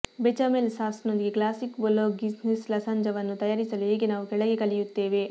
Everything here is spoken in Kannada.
ಬೆಚಾಮೆಲ್ ಸಾಸ್ನೊಂದಿಗೆ ಕ್ಲಾಸಿಕ್ ಬೊಲೊಗ್ನೀಸ್ ಲಸಾಂಜವನ್ನು ತಯಾರಿಸಲು ಹೇಗೆ ನಾವು ಕೆಳಗೆ ಕಲಿಯುತ್ತೇವೆ